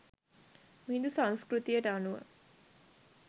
මිහිඳු සංස්කෘතියට අනුව